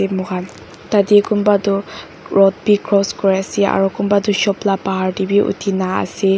te mokhan tatae kunba toh road bi cross kuri ase aro kunba tu shop la bahar tae bi uthina ase.